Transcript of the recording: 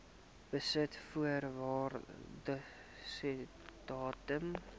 besit voor waardasiedatum